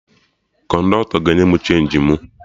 Kọndọktọ ga enye mụ chenji mụ